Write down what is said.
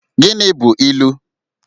Gịnị bụ ilu?